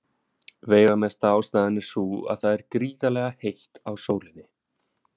Veigamesta ástæðan er sú að það er gríðarlega heitt á sólinni.